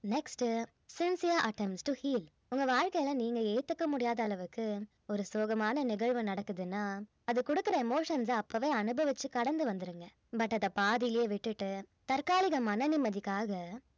next sincere attempts to heel உங்க வாழ்க்கையில நீங்க ஏத்துக்க முடியாத அளவுக்கு ஒரு சோகமான நிகழ்வு நடக்குதுன்னா அது குடுக்கிற emotions அ அப்பவே அனுபவிச்சு கடந்து வந்துடுங்க but அத பாதியிலே விட்டுட்டு தற்காலிக மன நிம்மதிக்காக